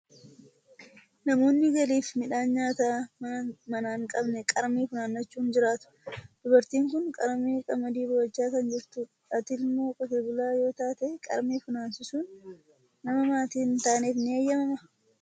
Namoonni galii fi midhaan nyaataa manaa hin qabne qarmii funaannachuun jiraatu. Dubartiin kun qarmii qamadii bu'achaa kan jirtu dha. Ati ilmoo qotee bulaa yoo taate, qarmii funaansisuun nama maatii hin taaneef ni eeyyamamaa?